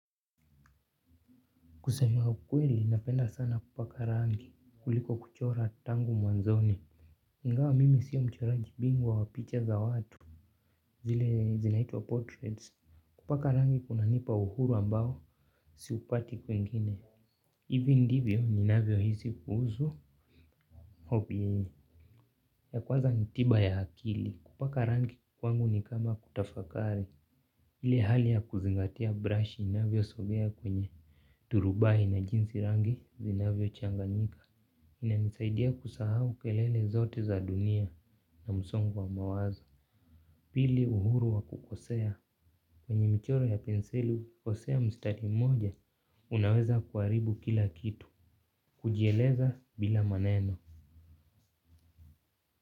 Kusema ukweli, napenda sana kupaka rangi, kuliko kuchora tangu mwanzoni. Ingawa mimi sio mchoraji mimi ni wa picha za watu, zile zinaitwa portraits. Kupaka rangi kuna nipa uhuru ambao siupati kwingine. Ivi ndivyo ninavyohisi kuhusu, hopi yeye. Ya kwaza ni tiba ya akili, kupaka rangi kwangu ni kama kutafakari. Ile hali ya kuzingatia brashi inavyosongea kwenye turubai na jinsi rangi zinavyo changanyika. Inanisaidia kusahau kelele zote za dunia na msongo wa mawazo. Pili uhuru wa kukosea. Kwenye mchoro ya pensili kukosea mstari mmoja unaweza kuharibu kila kitu. Kujieleza bila maneno.